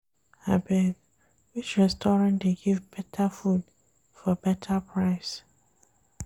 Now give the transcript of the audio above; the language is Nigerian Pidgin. Abeg, which restaurant dey give better food for beta price?